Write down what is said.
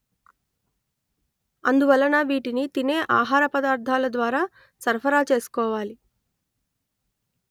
అందువలన వీటిని తినే ఆహార పదార్ధాల ద్వారా సరఫరా చేసుకోవాలి